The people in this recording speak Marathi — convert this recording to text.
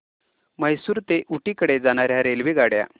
म्हैसूर ते ऊटी कडे जाणार्या रेल्वेगाड्या